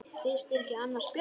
Finnst þér annars ekki bjart?